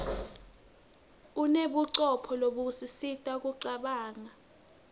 unebucopho lobusisita kucabanga